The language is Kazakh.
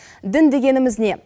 дін дегеніміз не